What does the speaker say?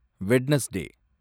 Wednesday